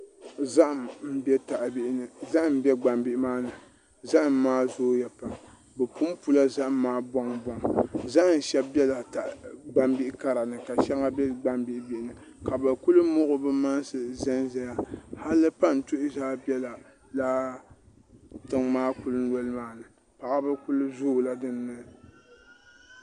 Zaham n bɛ taha bihi maa ni zaham maa zooya pam bi punpula zaham maa bɔŋ bɔŋ zaham shɛli biɛla gbambihi kara ni ka shɛli bɛ gbambihi bihi ni ka bi kuli muɣi bi mansi n ʒɛnʒɛya hali pantuhi biɛla laa tiŋ maa kuli nɔli maa paɣaba kuli zoola dinni